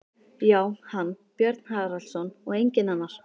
Já, hann, Björn Haraldsson, og enginn annar!